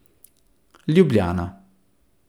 Ljubljana.